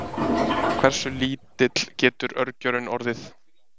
Hversu lítill getur örgjörvinn orðið?